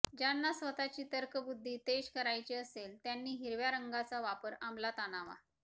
ज्यांना स्वतःची तर्कबुद्धी तेज करायची असेल त्यांनी हिरव्या रंगाचा वापर अंमलात आणावा